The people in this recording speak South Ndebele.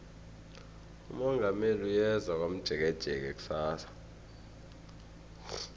umongameli uyeza komjekejeke kusasa